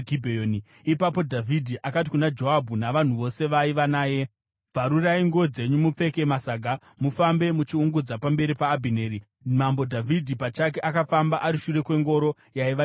Ipapo Dhavhidhi akati kuna Joabhu navanhu vose vaiva naye, “Bvarurai nguo dzenyu mupfeke masaga mufambe muchiungudza pamberi paAbhineri.” Mambo Dhavhidhi pachake akafamba ari shure kwengoro yaiva nechitunha.